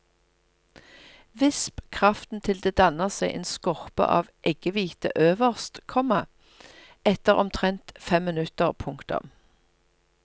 Visp kraften til det danner seg en skorpe av eggehvite øverst, komma etter omtrent fem minutter. punktum